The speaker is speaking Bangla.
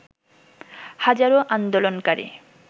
হাজারো আন্দোলকারী